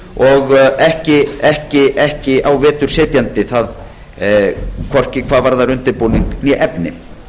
og ekki á vetur setjandi hvorki hvað varðar undirbúning né efni